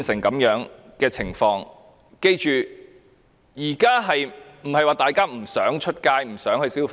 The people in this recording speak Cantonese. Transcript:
我們要緊記，現在不是說大家不想外出消費。